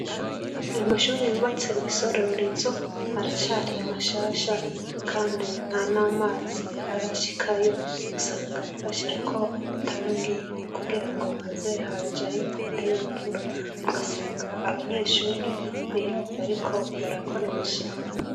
Ayo mashuri yubatse isororezo aracari mashasha, kandi nta n' amazi arashikayo usanga basherako anatangi kugira ngo haze harajayo ari mvura ugasanga abanyeshuri ni iyuba, ariko barakoresha.